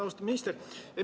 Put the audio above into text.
Austatud minister!